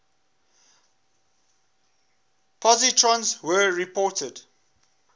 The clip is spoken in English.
positrons were reported